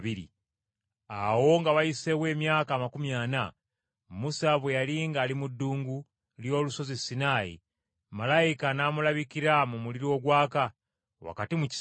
“Awo nga wayiseewo emyaka amakumi ana, Musa bwe yali ng’ali mu ddungu ly’olusozi Sinaayi, malayika n’amulabikira mu muliro ogwaka, wakati mu kisaka.